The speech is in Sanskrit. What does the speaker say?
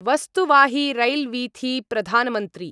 वस्तुवाहिरैल्वीथी प्रधानमन्त्री